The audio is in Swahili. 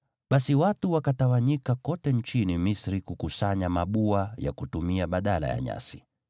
Basi watu wakatawanyika kote nchini Misri kukusanya mabua ya kutumia badala ya nyasi.